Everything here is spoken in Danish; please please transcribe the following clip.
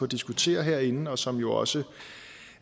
diskutere herinde og som jo også